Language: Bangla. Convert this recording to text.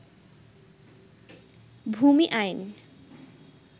ভূমি আইন